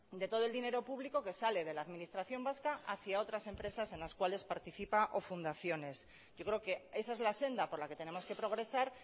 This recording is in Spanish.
de todo el dinero público que sale de la administración vasca hacia otras empresas en las cuales participa o fundaciones yo creo que esa es la senda por la que tenemos que progresar